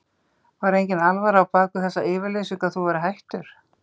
Var enginn alvara á bak við þessa yfirlýsingu að þú værir hættur?